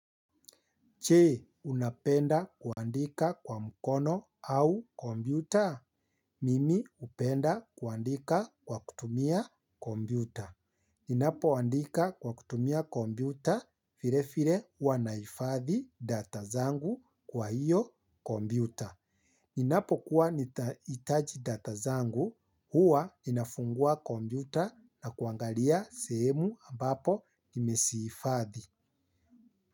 Je, unapenda kuandika kwa mkono au kompyuta? Mimi upenda kuandika kwa kutumia kombiuta. Ninapo andika kwa kutumia kompyuta, vile vile huwa nahifadhi data zangu kwa hiyo kompyuta. Ninapo kuwa nitahitaji data zangu, huwa nafungua kompyuta na kuangalia sehemu ambapo nimezi hifadhi.